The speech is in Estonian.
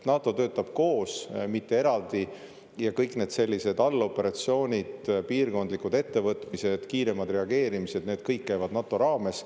NATO töötab koos, mitte eraldi, ja kõik need sellised alloperatsioonid, piirkondlikud ettevõtmised, kiiremad reageerimised käivad NATO raames.